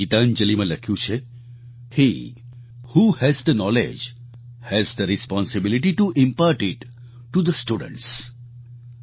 તેમણે ગીતાંજલિમાં લખ્યું છે he who has the knowledge has the responsibility to impart it to the students